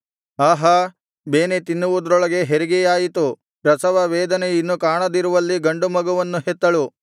ಆಹಾ ಬೇನೆ ತಿನ್ನುವುದರೊಳಗೆ ಹೆರಿಗೆಯಾಯಿತು ಪ್ರಸವವೇದನೆ ಇನ್ನು ಕಾಣದಿರುವಲ್ಲಿ ಗಂಡು ಮಗುವನ್ನು ಹೆತ್ತಳು